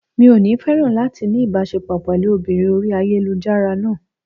Mi ò ní féràn láti ní ìbáṣepọ̀ pẹ̀lú obìnrin orí ayélujára náà.